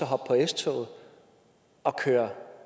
hoppe på s toget og køre